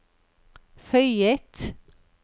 føyet